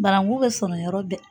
Barangun bɛ sɔrɔ yɔrɔ bɛɛ.